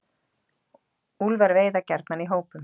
Úlfar veiða gjarnan í hópum.